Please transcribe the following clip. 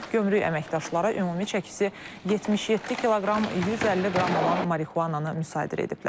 Gömrük əməkdaşları ümumi çəkisi 77 kiloqram 150 qram olan marixuananı müsadirə ediblər.